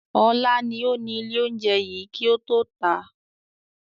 Ọlá ni ó ní ilé oúnjẹ yìí kì ó tó ta.